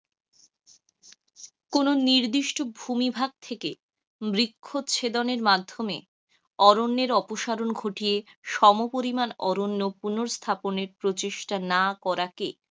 কোনো নির্দিষ্ট ভুমিভাগ থেকে বৃক্ষ ছেদনের মাধ্যমে অরণ্যের অপসারন ঘটিয়ে সম পরিমান অরণ্য পুনরস্থাপনের প্রচেষ্টা না করাকে,